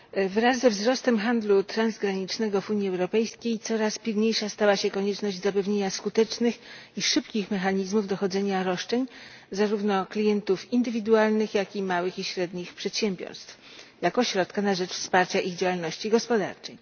Wraz ze wzrostem handlu transgranicznego w Unii Europejskiej coraz pilniejsza stała się konieczność zapewnienia skutecznych i szybkich mechanizmów dochodzenia roszczeń, zarówno klientów indywidualnych, jak i małych i średnich przedsiębiorstw, jako środka na rzecz wsparcia ich działalności gospodarczej.